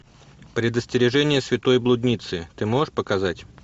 предостережение святой блудницы ты можешь показать